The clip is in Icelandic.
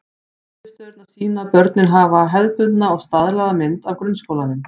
Niðurstöðurnar sýna að börnin hafa hefðbundna og staðlaða mynd af grunnskólanum.